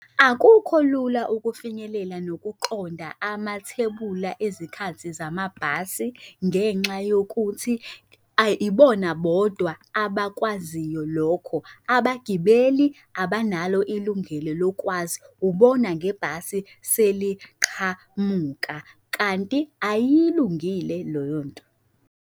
Akukho lula ukufinyelela nokuqonda amathebula ezikhathini zamabhasi ngenxa yokuthi ibona bodwa abakwaziyo lokho, abagibeli abanalo ilungelo lokwazi ubona ngebhasi seliqhamuka, kanti ayilungile loyo nto.